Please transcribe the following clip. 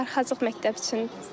Yəni darıxacaq məktəb üçün.